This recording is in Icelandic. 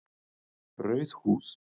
Rauð húð